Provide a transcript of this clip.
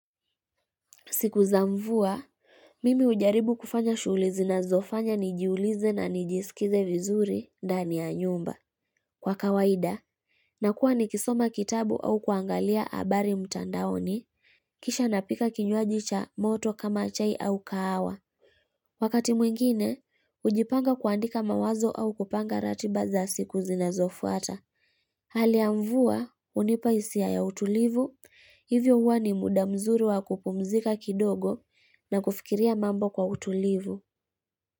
Siku za mvua, mimi hujaribu kufanya shuhulizi na zofanya nijiulize na nijisikize vizuri ndani ya nyumba. Kwa kawaida, nakuwa ni kisoma kitabu au kuangalia habari mtandaoni, kisha napika kinywajicha moto kama chai au kahawa. Wakati mwingine, hujipanga kuandika mawazo au kupanga ratiba za siku zina zofuata. Haliya mvua hunipahisia ya utulivu, hivyo huwani muda mzuri wa kupumzika kidogo na kufikiria mambo kwa utulivu.